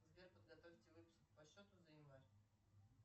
сбер подготовьте выписку по счету за январь